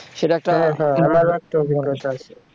সেটা একটা